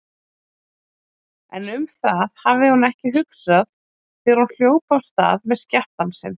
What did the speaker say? En um það hafði hún ekki hugsað þegar hún hljóp af stað með skjattann sinn.